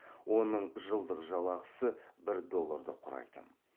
оның жылдық жалақысы бір долларды құрайтын